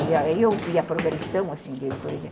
E aí eu vi a progressão, assim, dele, por exemplo.